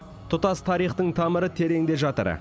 тұтас тарихтың тамыры тереңде жатыр